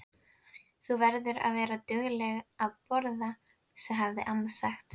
Þú verður að vera dugleg að borða, hafði amma sagt.